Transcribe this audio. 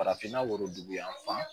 Farafinna worodugu yanfan